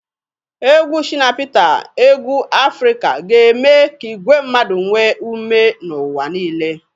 Egwu Shina Peter egwu Afrika ga-eme ka igwe mmadụ nwee ume n'ụwa niile.